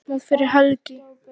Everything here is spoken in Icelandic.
Ekki opnað fyrir helgi